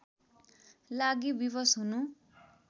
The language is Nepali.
लागि विवश हुनु